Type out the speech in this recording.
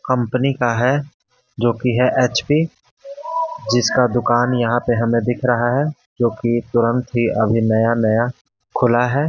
Company का है जो कि है एचपी जिसका दुकान यहां पे हमें दिख रहा है जो कि तुरंत ही अभी नया नया खुला है।